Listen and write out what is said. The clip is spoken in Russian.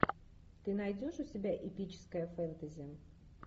ты найдешь у себя эпическое фэнтези